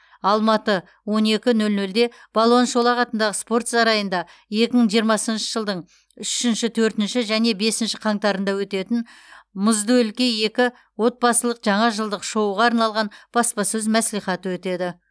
алматы он екі нөл нөлде балуан шолақ атындағы спорт сарайында екі мың жиырмасыншы жылдың үшінші төртінші және бесінші қаңтарында өтетін мұзды өлке екі отбасылық жаңажылдық шоуға арналған баспасөз мәслихаты өтеді